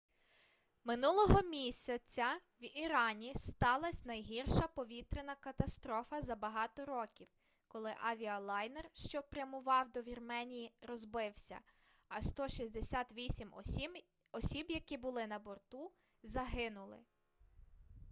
минулого місяці в ірані сталась найгірша повітряна катастрофа за багато років коли авіалайнер що прямував до вірменії розбився а 168 осіб які були на борту загинули